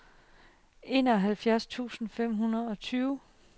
enoghalvfjerds tusind fem hundrede og tyve